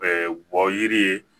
wɔ yiri ye